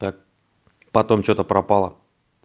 так потом что-то пропала